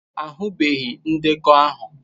Ahụbeghị ndekọ ahụ.